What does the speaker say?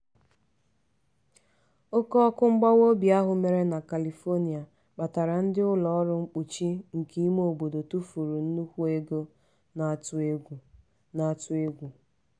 oke ọkụ mgbawa obi ahụ mere na califonia kpatara ndị ụlọ ọrụ mkpuchi nke ime obodo tụfuru nnukwu ego na-atụ egwu. na-atụ egwu.